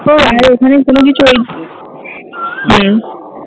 আর ওখানে কোনো কিছু ওই নেই?